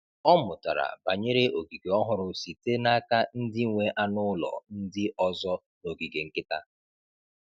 Ọ mụtara banyere ogige ọhụrụ site n’aka ndị nwe anụ ụlọ ndị ọzọ n’ogige nkịta.